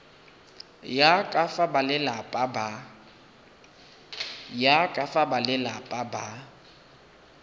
ya ka fa balelapa ba